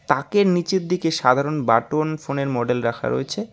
তাকের নীচের দিকে সাধারণ বাটন ফোনের মডেল রাখা রয়েছে।